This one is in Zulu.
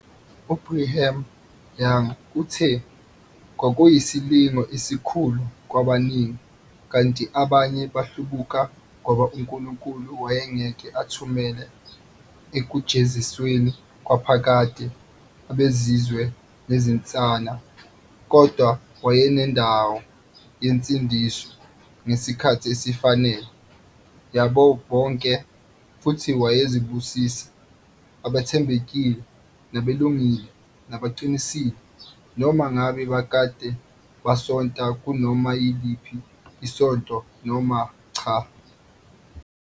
UBrigham Young uthe, Kwakuyisilingo esikhulu kwabaningi, kanti abanye bahlubuka ngoba uNkulunkulu wayengeke athumele ekujezisweni kwaphakade abezizwe nezinsana, kodwa wayenendawo yensindiso, ngesikhathi esifanele, yabo bonke, futhi wayezobusisa abathembekile nabalungile nabaqinisile, noma ngabe bake basonta kunoma yiliphi isonto noma cha.